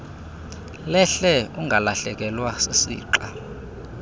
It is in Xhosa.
lehle ungalahlekelwa sisixa